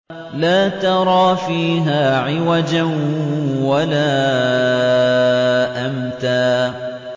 لَّا تَرَىٰ فِيهَا عِوَجًا وَلَا أَمْتًا